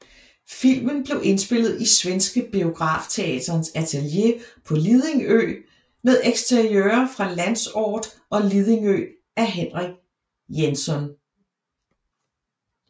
Filmen blev indspillet i Svenske Biografteaterns atelier på Lidingö med eksteriører fra Landsort og Lidingö af Henrik Jaenzon